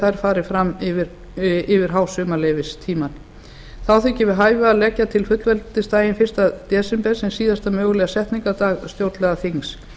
þær fari fram yfir hásumarleyfistímann þá þykir við hæfi að leggja til fullveldisdaginn fyrsta desember sem síðasta mögulega setningardag stjórnlagaþings